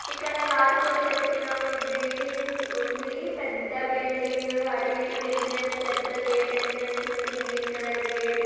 ఇక్కడ రాతితో చెక్కినవి బిల్డింగ్ ఉంది. పెద్ద బిల్డింగ్. అటు ఇటు ఎంట్రన్స్ పెద్ద గేటు ఎంట్రన్స్ ఉంది. Green colour gate--